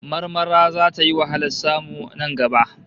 Marmara zata yi wahalar samu nan gaba